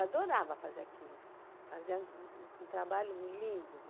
Adorava fazer aquilo, fazer um trabalho lindo lá.